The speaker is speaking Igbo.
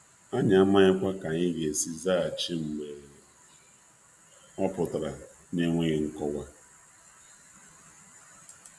Anyị amaghikwa ka anyị ga-esi zaghachi mgbe ọ pụtara na-enweghị nkọwa.